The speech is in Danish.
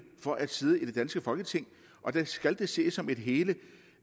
for at sidde i det danske folketing og der skal det ses som et hele